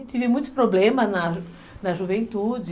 E tive muitos problemas na na juventude.